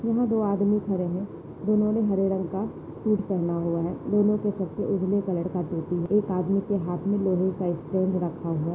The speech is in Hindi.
यहा दो आदमी खड़े है दोन्हों ने हरे रंग का सूट पहना हुआ है दोन्हों के सर पे उजाले कलर का टोपी है एक आदमी के हात मे लोहे का स्टैंड रखा हुआ--